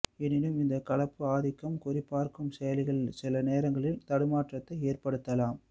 எனினும் இந்த கலப்பு ஆதிக்கம் குறி பார்க்கும் செயல்களில் சில நேரங்களில் தடுமாற்றத்தை ஏற்படுத்தலாம்